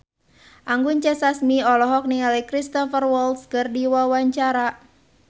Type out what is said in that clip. Anggun C. Sasmi olohok ningali Cristhoper Waltz keur diwawancara